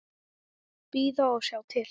Bíða og sjá til.